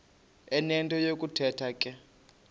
enento yokuthetha ke